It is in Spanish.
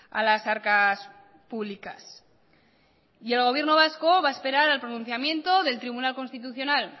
a las arcas públicas y el gobierno vasco va a esperar al pronunciamiento del tribunal constitucional